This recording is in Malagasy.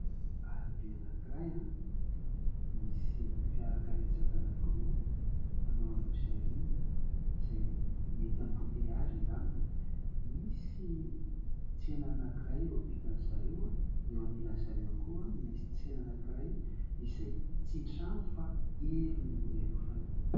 Arabe anankiray, misy fiara karetsaka anankiroa, manao aloha sy aoriana izay mety ambote azy angamba. Misy tsena anankiray eo ampitan'ny zareo. Eo anilan'ny zareo koa misy tsena anankiray izay tsy misy trano fa helo ny no ialofany.